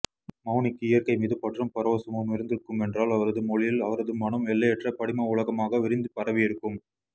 மெளனிக்கு இயற்கை மீதுபற்றும் பரவசமும் இருந்திருக்குமென்றால் அவரது மொழியில் அவரது மனம் எல்லையற்ற படிம உலகமாக விரிந்து பரவியிருக்கும்